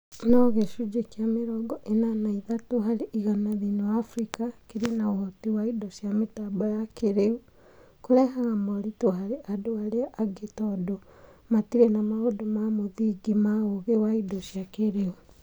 No gĩcunjĩ kĩ mĩrongo ĩna na ithatũ harĩ igana thĩiniĩ wa Africa kĩrĩ na ũhoti wa indo cia mĩtambo ya kĩĩrĩu, kũrehaga moritũ harĩ andũ arĩa angĩ tondũ matirĩ na maũndũ ma mũthingi ma ũũgĩ wa indo cia kĩĩrĩu